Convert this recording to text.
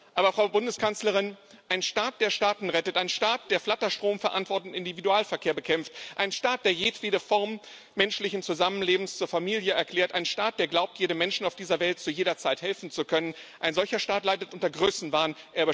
Aber, Frau Bundeskanzlerin, ein Staat, der Staaten rettet, ein Staat, der Flatterstrom verantwortet und Individualverkehr bekämpft, ein Staat, der jedwede Form menschlichen Zusammenlebens zur Familie erklärt, ein Staat, der glaubt, jedem Menschen auf dieser Welt zu jeder Zeit helfen zu können, ein solcher Staat leidet unter Größenwahn.